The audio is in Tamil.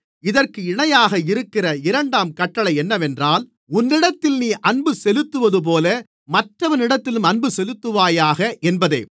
இதற்கு இணையாக இருக்கிற இரண்டாம் கட்டளை என்னவென்றால் உன்னிடத்தில் நீ அன்புசெலுத்துவதுபோல மற்றவனிடத்திலும் அன்புசெலுத்துவாயாக என்பதே